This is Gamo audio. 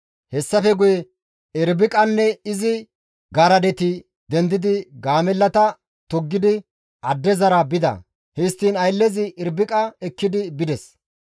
Hessafe guye Irbiqaynne izi garadeti dendidi gaamellata toggidi addezara bida; histtiin ayllezi Irbiqa ekkidi bides.